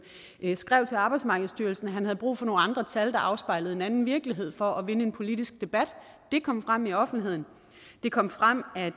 skrev til arbejdsmarkedsstyrelsen at han havde brug for nogle andre tal der afspejlede en anden virkelighed for at vinde en politisk debat det kom frem i offentligheden det kom frem at